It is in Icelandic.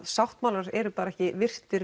sáttmálar eru bara ekki virtir